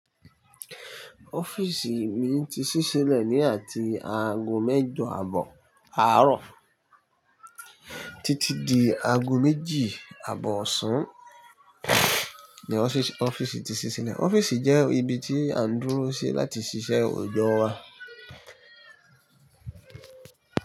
Ọ́fíìsì mi ti ṣíṣe lẹ ní àti aago mẹ́jọ àbọ̀ àárọ̀ títí di aago méjì àbọ̀ ọ̀sán ni ọ́fíìsì ti ṣíṣe lẹ̀. Ọ́fíìsì jẹ́ ibi tí à ń dúró sí láti ṣiṣẹ́ òjò wa.